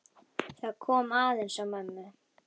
Það kom aðeins á mömmu.